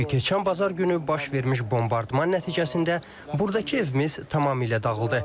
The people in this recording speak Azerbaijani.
Çünki keçən bazar günü baş vermiş bombardman nəticəsində burdakı evimiz tamamilə dağıldı.